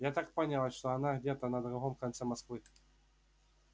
я так поняла что она где-то на другом конце москвы